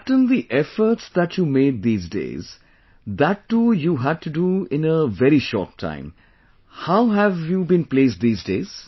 Captain the efforts that you made these days... that too you had to do in very short time...How have you been placed these days